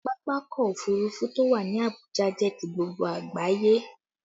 Pápákọ̀ òfurufú to wá ní Abuja jẹ ti gbogbo àgbáyé